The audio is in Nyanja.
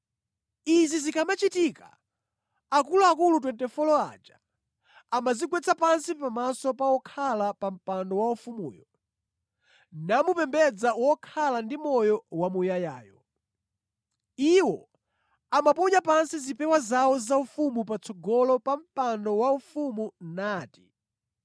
Izi zikamachitika akuluakulu 24 aja amadzigwetsa pansi pamaso pa wokhala pa mpando waufumuyo, namupembedza wokhala ndi moyo wamuyayayo. Iwo amaponya pansi zipewa zawo zaufumu patsogolo pa mpando waufumu nati: